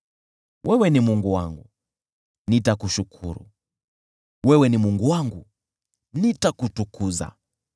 Wewe ni Mungu wangu, nitakushukuru, wewe ni Mungu wangu, nitakutukuza.